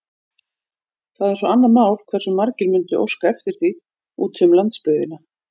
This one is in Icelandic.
Það er svo annað mál, hversu margir mundu óska eftir því úti um landsbyggðina.